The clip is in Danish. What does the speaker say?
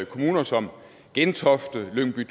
kommuner som gentofte lyngby